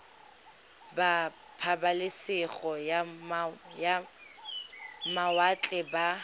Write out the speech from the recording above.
ba pabalesego ya mawatle ba